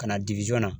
Ka na